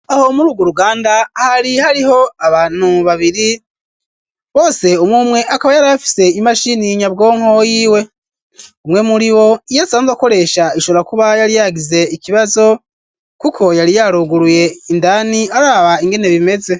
Aho muri uga ruganda hari hariho abantu babiri bose umwumwe akaba yar afise imashini y'inyabwonko yiwe umwe muri wo iyo asanzwe akoresha ishobora kuba yari yagize ikibazo, kuko yari yaroguruye indani araba ingene bimeze.